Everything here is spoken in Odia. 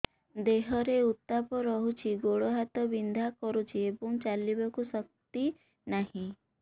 ଦେହରେ ଉତାପ ରହୁଛି ଗୋଡ଼ ହାତ ବିନ୍ଧା କରୁଛି ଏବଂ ଚାଲିବାକୁ ଶକ୍ତି ନାହିଁ